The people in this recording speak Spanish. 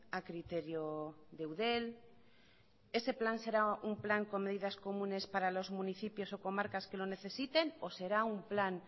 a criterio de eudel ese plan será un plan con medidas comunes para los municipios o comarcas que lo necesiten o será un plan